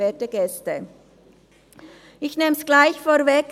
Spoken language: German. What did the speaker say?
Ich nehme es gleich vorweg: